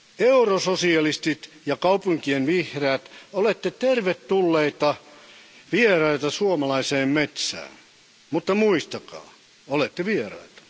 Eurososialistit ja kaupunkien vihreät olette tervetulleita vieraita suomalaiseen metsään, mutta muistakaa, olette vieraita.